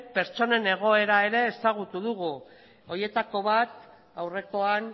pertsonen egoera ere ezagutu dugu horietako bat aurrekoan